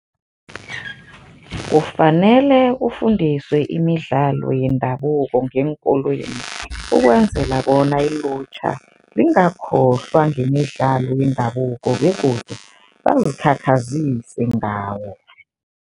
Kufanele kufundiswe imidlalo yendabuko ngeenkolweni ukwenzela bona ilutjha lingakhohlwa ngemidlalo yendabuko begodu bazikhakhazise ngawo.